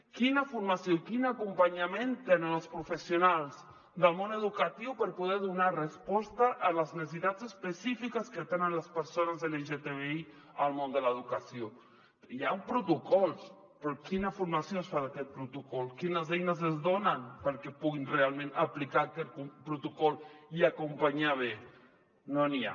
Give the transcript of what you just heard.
quina formació quin acompanyament tenen els professionals del món educatiu per poder donar resposta a les necessitats específiques que tenen les persones lgtbi al món de l’educació hi han protocols però quina formació es fa d’aquest protocol quines eines es donen perquè puguin realment aplicar aquest protocol i acompanyar bé no n’hi ha